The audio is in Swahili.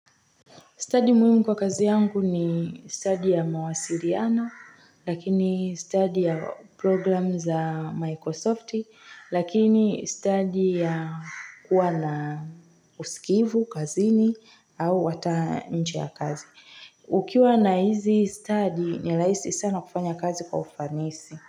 Study muhimu kwa kazi yangu ni study ya mawasiliano, lakini study ya program za Microsoft, lakini study ya kuwa na usikivu, kazini, au hata nje ya kazi. Ukiwa na hizi study, ni raisi sana kufanya kazi kwa ufanisi.